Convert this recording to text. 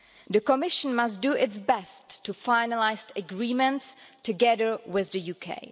The Commission must do its best to finalise an agreement together with the UK.